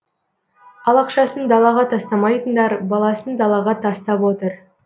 ал ақшасын далаға тастамайтындар баласын далаға тастап отыр